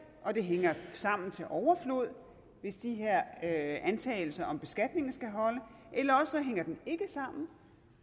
og det hænger sammen til overflod hvis de her antagelser om beskatning skal holde eller også hænger den ikke sammen